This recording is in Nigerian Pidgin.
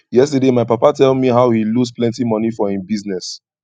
yesterday my papa tell me how he lose plenty money for im business